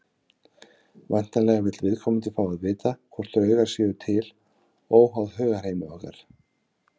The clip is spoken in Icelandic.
Væntanlega vill viðkomandi fá að vita hvort draugar séu til óháð hugarheimi okkar.